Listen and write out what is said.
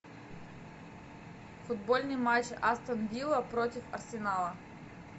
футбольный матч астон вилла против арсенала